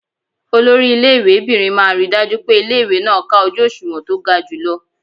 Olori ilé ìwé'bìnrin máa ríi dájú pé ilé-ìwé náà ká ojú òṣùwọ̀n tó ga jùlọ.